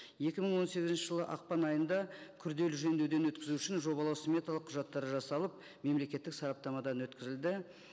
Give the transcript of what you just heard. екі мың он сегізінші жылы ақпан айында күрделі жөндеуден өткізу үшін жобалау сметалық құжаттары жасалып мемлекеттік сараптамадан өткізілді